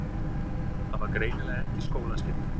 Það var greinilega ekki skólaskylda.